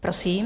Prosím.